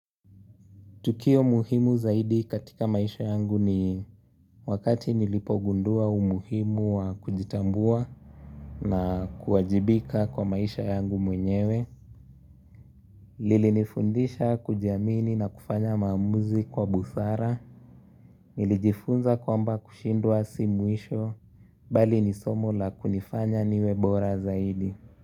Tukio muhimu zaidi katika maisha yangu ni wakati nilipogundua umuhimu wa kujitambua na kuwajibika kwa maisha yangu mwenyewe. Lilinifundisha kujiamini na kufanya maamuzi kwa busara. Nilijifunza kwamba kushindwa si mwisho bali ni somo la kunifanya niwe bora zaidi.